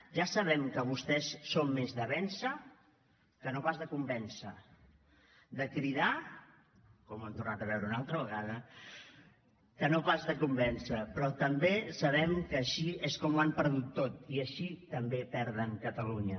ja sabem que vostès són més de vèncer que no pas de convèncer de cridar com ho hem tornat a veure una altra vegada que no pas de convèncer però també sabem que així és com ho han perdut tot i així també perden catalunya